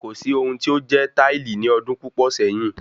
Kò sí ohun tí ó jẹ́ táìlì ní ọdún púpò sẹyìn